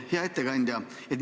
Hea ettekandja!